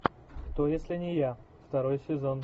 кто если не я второй сезон